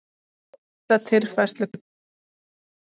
Þessa tilfærslu köllum við eldgos.